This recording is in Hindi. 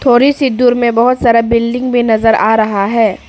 थोड़ी सी दूर में बहोत सारा बिल्डिंग भी नजर आ रहा है।